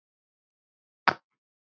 Enda af nógu að taka.